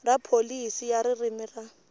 ra pholisi ya ririmi ra